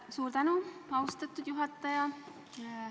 Suur tänu, austatud juhataja!